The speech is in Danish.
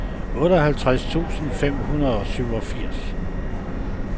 otteoghalvtreds tusind fem hundrede og syvogfirs